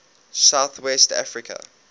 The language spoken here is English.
south west africa